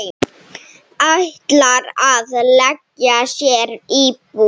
Ætlar að leigja sér íbúð.